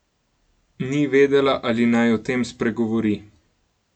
Ni vedela, ali naj o tem spregovori.